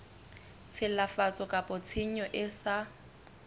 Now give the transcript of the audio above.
tshilafatso kapa tshenyo e sa